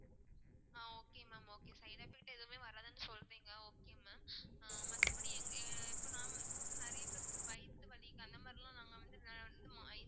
ஆஹ் okay mam okay side effect எதுவுமே வராதுன்னு சொல்றீங்க okay mam ஆ மத்தபடி இங்~ இப்போ நான் இப்போ நிறைய பேத்துக்கு வயித்து வலி அந்த மாதிரிலாம் நாங்க வந்து இன்னும்